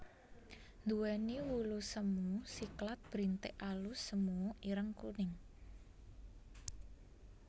Nduwéni wulu semu siklat brintik alus semu ireng kuning